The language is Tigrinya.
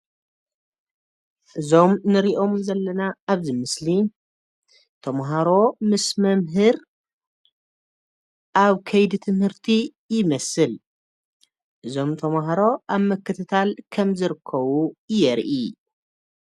እዞም ንሪኦም ዘለና ኣብዚ ምስሊ ተመሃሮ ምስ መምህር ኣብ ከይዲ ትምህርቲ ይመስል፡፡ እዞም ተመሃሮ ኣብ ምክትታል ከምዝርከቡ የርኢ፡፡